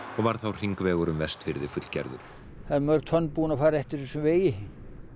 og var þá hringvegur um Vestfirði fullgerður það eru mörg tonn búin að fara eftir þessum vegi